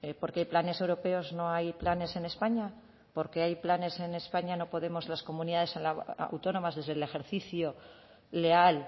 por que hay planes europeos no hay planes en españa por que hay planes en españa no podemos las comunidades autónomas desde el ejercicio leal